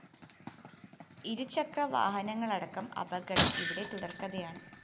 ഇരുചക്രവാഹനങ്ങളടക്കം അപകടം ഇവിടെ തുടര്‍ക്കഥയാണ്